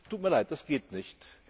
Das tut mir Leid, das geht nicht.